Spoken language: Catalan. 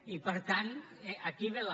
i per tant aquí ve la